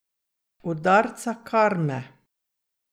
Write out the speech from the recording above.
Udarca karme.